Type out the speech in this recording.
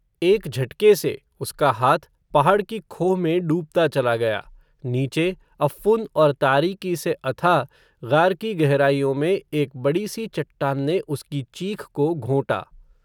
एक झटके से, उसका हाथ, पहाड क़ी खोह में डूबता चला गया, नीचे, अफ़्फ़ुन और तारीकी से अथाह ग़ार की गहराइयों में, एक बडी सी चट्टान ने उसकी चीख को घोंटा